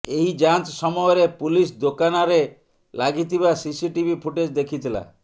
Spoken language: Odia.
ଏହି ଯାଞ୍ଚ ସମୟରେ ପୁଲିସ ଦୋକାନାରେ ଲାଗିଥିବା ସିସିଟିଭି ଫୁଟେଜ ଦେଖିଥିଲା